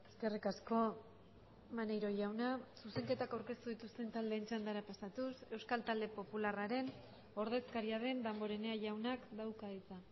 eskerrik asko maneiro jauna zuzenketak aurkeztu dituzten taldeen txandara pasatuz euskal talde popularraren ordezkaria den damborenea jaunak dauka hitza